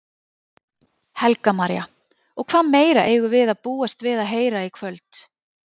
Helga María: Og hvað meira eigum við að búast við að heyra í kvöld?